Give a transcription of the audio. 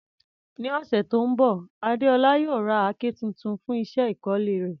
Ní ọ̀sẹ̀ tó ń bọ̀, Adeola yóò ra àáké tuntun fún iṣẹ́ ìkọ́lé rẹ̀.